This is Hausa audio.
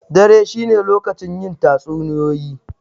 Dare shi ne lokacin yin tatsuniyoyi.